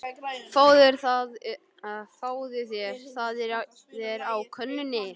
Fáðu þér, það er á könnunni.